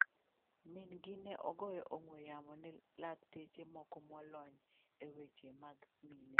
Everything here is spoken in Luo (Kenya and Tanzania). Min-gi ne ogoyo ongwe'yamo ne lakteche moko molony e weche mag mine.